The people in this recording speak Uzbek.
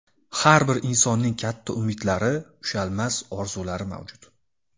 Har bir insonning katta umidlari, ushalmas orzulari mavjud.